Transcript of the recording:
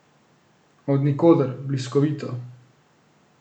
Od nikoder, bliskovito ...